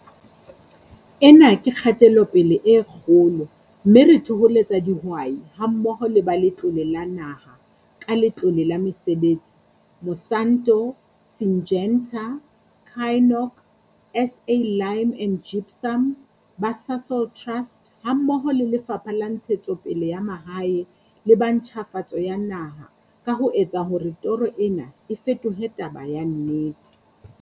Ena ke kgatelopele e kgolo, mme re thoholetsa dihwai hammoho le ba Letlole la Naha, ka Letlole la Mesebetsi, Monsanto, Syngenta, Kynoch, SA Lime and Gypsum, ba Sasol Trust hammoho le Lefapha la Ntshetsopele ya Mahae le ba Ntjhafatso ya Naha ka ho etsa hore toro ena e fetohe taba ya nnete.